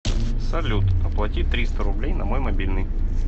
салют оплати триста рублей на мой мобильный